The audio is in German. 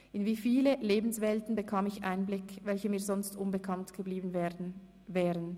In wie viele Lebenswelten bekam ich Einblick, welche mir sonst unbekannt geblieben wären!